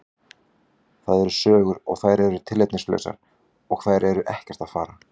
Það eru sögur og þær eru tilefnislausar og þeir eru ekkert að fara.